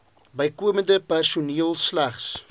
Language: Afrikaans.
bykomende personeel slegs